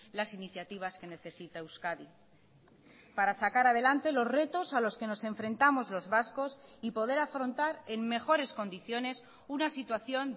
las iniciativas que necesita euskadi para sacar adelante los retos a los que nos enfrentamos los vascos y poder afrontar en mejores condiciones una situación